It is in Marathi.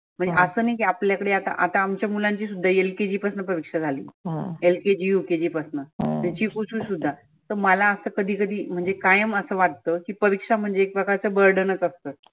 आसं नाही की आपल्या कडे आता आमच्या मुलांची सुद्धा LKG पासनं परिक्षा झाली. LKG, UKG पासनं चिकुची सुद्धा तर मला असं कधी कधी म्हणजे कायम असं वाटत की परिक्षा म्हनजे एक प्रकारच burden नच असत.